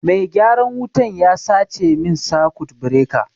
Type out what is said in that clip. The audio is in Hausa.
Mai gyaran wutan ya sace min sakut bireka